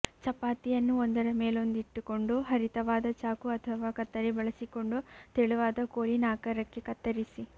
ಚಪಾತಿಯನ್ನು ಒಂದರ ಮೇಲೊಂದಿಟ್ಟುಕೊಂಡು ಹರಿತವಾದ ಚಾಕು ಅಥವಾ ಕತ್ತರಿ ಬಳಸಿಕೊಂಡು ತೆಳುವಾದ ಕೋಲಿನ ಆಕಾರಕ್ಕೆ ಕತ್ತರಿಸಿ